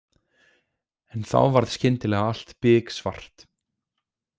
En þá varð skyndilega allt biksvart.